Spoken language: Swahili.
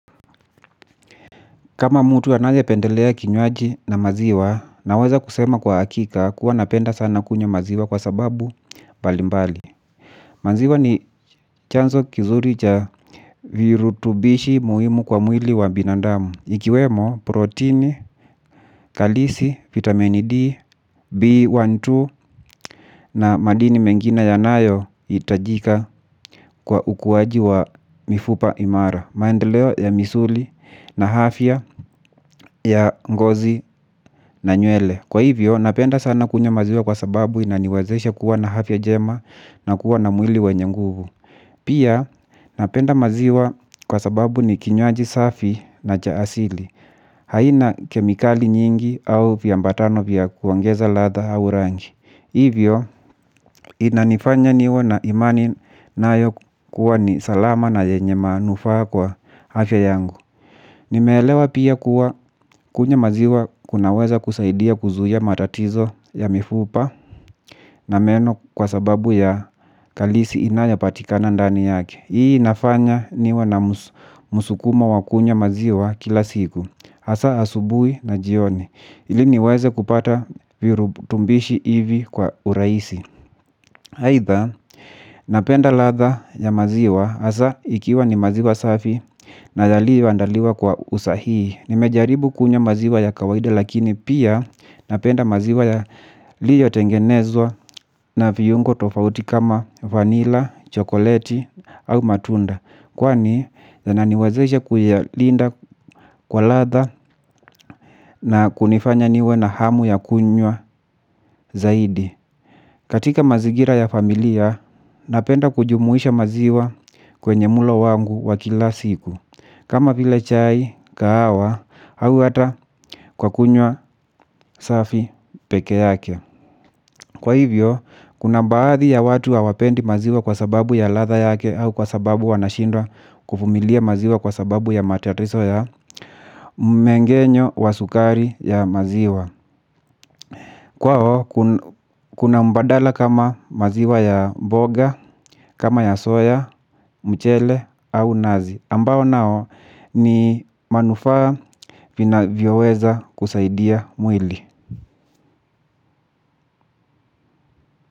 Kama mutu anaye pendelea kinywaji na maziwa, naweza kusema kwa akika kuwa napenda sana kunywa maziwa kwa sababu mbalimbali. Maziwa ni chanzo kizuri cha virutubishi muhimu kwa mwili wa binadamu. Ikiwemo, protein, kalisi, vitamin D, B12 na madini mengine ya nayo itajika kwa ukuwaji wa mifupa imara. Maendeleo ya misuli na afya ya ngozi na nywele. Kwa hivyo napenda sana kunywa maziwa kwa sababu inaniwazesha kuwa na afya jema na kuwa na mwili wenye nguvu. Pia napenda maziwa kwa sababu ni kinywaji safi na chaasili. Haina kemikali nyingi au viambatano vya kuongeza latha au rangi. Hivyo inanifanya niwe na imani na yo kuwa ni salama na yenye manufaa kwa afya yangu. Nimeelewa pia kuwa kunywa maziwa kunaweza kusaidia kuzuia matatizo ya mifupa na meno kwa sababu ya kalisi inayo patikana ndani yake. Hii inafanya niwe na musukumo wa kunywa maziwa kila siku. Hasa asubui na jioni. Ili niweze kupata virutumbishi hivi kwa uraisi. Haitha, napenda latha ya maziwa hasa ikiwa ni maziwa safi na yaliyoandaliwa kwa usahii. Nimejaribu kunywa maziwa ya kawaida lakini pia napenda maziwa ya liyo tengenezwa na viungo tofauti kama vanila, chokoleti au matunda. Kwani, zina niwazesha kuyalinda kwa latha na kunifanya niwe na hamu ya kunywa zaidi. Katika mazigira ya familia, napenda kujumuisha maziwa kwenye mulo wangu wakila siku. Kama vile chai, kahawa, hau hata kwa kunywa safi peke yake. Kwa hivyo, kuna baadhi ya watu hawapendi maziwa kwa sababu ya latha yake au kwa sababu wanashindwa kuvumilia maziwa kwa sababu ya matatiso ya mmengenyo wa sukari ya maziwa. Kwao kuna mbadala kama maziwa ya mboga, kama ya soya, mchele au nazi. Ambao nao ni manufaa vina vyoweza kusaidia mwili.